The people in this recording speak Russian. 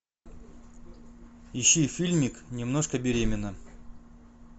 ищи фильмик немножко беременна